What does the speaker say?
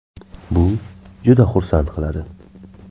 Bu juda xursand qiladi.